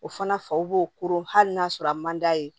O fana faw b'o koro hali n'a sɔrɔ a man d'a ye